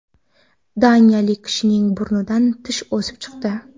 Daniyalik kishining burnidan tish o‘sib chiqdi.